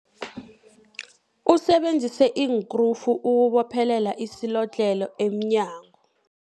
Usebenzise iinkrufu ukubophelela isilodlhelo emnyango.